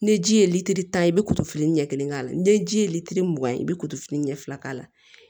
Ni ji ye litiri tan i bɛ kuturu fili ɲɛ kelen k'a la ni ji ye lilitiri mugan ye i bɛ kufini ɲɛ fila k'a la